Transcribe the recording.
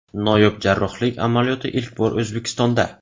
Noyob jarrohlik amaliyoti ilk bor O‘zbekistonda.